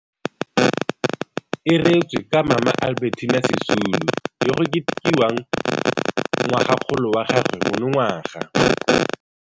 E reetswe ka Mama Albe rtina Sisulu yo go ketekiwang ngwagakgolo wa gagwe mo nongwaga.